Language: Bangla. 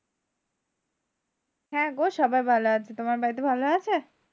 হ্যাঁ গো সবাই ভালো আছে। তোমার বাড়িতে ভালো আছে?